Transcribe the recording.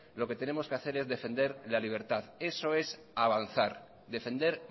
lo que tenemos que hacer es defender la libertad eso es avanzar defender